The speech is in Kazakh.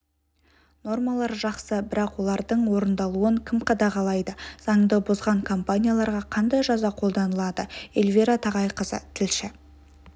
нормалар жақсы бірақ олардың орындалуын кім қадағалайды заңды бұзған компанияларға қандай жаза қолданылады эльвира тағайқызы тілші